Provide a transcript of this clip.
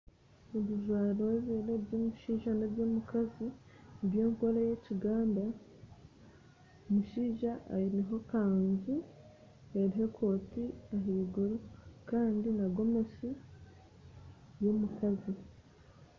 Ebijwaro bibiri ebyo n'eby'omushaija n'eby'omukazi eby'enkora ey'ekiganda omushaija aineho ekanju eriho ekooti ahaiguru Kandi n'egomesi y'omukazi